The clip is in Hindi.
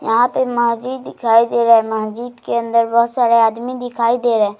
यहाँ पे मस्जिद दिखाई दे रहा है मस्जिद के अंदर बहुत सारे आदमी दिखाई दे रहे हैं।